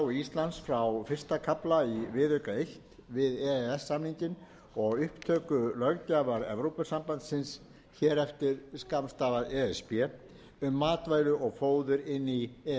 undanþágu íslands frá fyrsta kafla í viðauka eins við e e s samninginn og upptöku löggjafar evrópusambandsins um matvæli og fóður inn í e e s samninginn